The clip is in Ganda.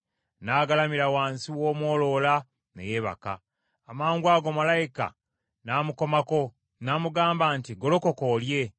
N’agalamira wansi w’omwoloola ne yeebaka. Amangwago malayika n’amukomako, n’amugamba nti, “Golokoka olye.”